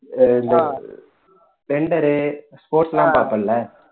sports எல்லாம் பார்ப்பேல்ல